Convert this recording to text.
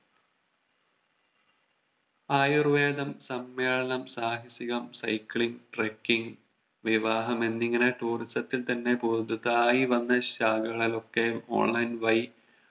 ആയുർവേദം സമ്മേളനം സാഹസികം cycling trucking വിവാഹം എന്നിങ്ങനെ Tourism ത്തിൽ തന്നെ പുതുതായി വന്ന ശാഖകളിലൊക്കെ online വഴി